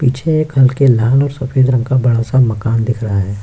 पीछे एक हल्के लाल और सफेद रंग का बड़ा-सा मकान दिख रहा है।